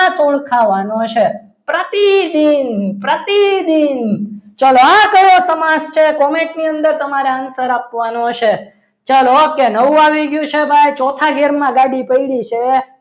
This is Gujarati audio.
સમાશ ઓળખાવાનું છે પ્રતિદિન પ્રતિદિન ચલો આશ કયો સમાસ છે comment ની અંદર તમારે answer આપવાનો છે ચલો okay નવું આવી ગયું છે ચોથા ગેરમાં ગાડી પડી છે.